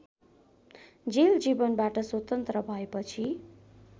jail जीवनबाट स्वतन्त्र भएपछि